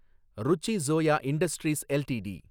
Ruchi Soya industries LTD